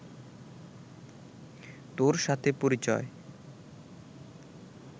তোর সাথে পরিচয়